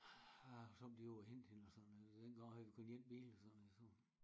A har somme tider over og hente hende og sådan noget og dengang havde vi kun en bil og sådan noget så